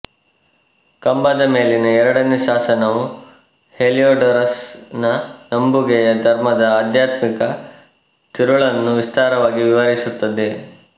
ಕಂಬದ ಮೇಲಿನ ಎರಡನೇ ಶಾಸನವು ಹೆಲಿಯೋಡೋರಸ್ ನ ನಂಬುಗೆಯ ಧರ್ಮದ ಆಧ್ಯಾತ್ಮಿಕ ತಿರುಳನ್ನು ವಿಸ್ತಾರವಾಗಿ ವಿವರಿಸುತ್ತದೆ